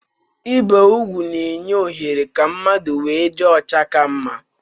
Ibi úgwù na-enye ohere ka mmadụ nwee ịdị ọcha ka mma